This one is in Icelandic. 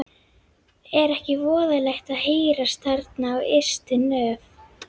Er ekki voðalegt að hírast þarna á ystu nöf?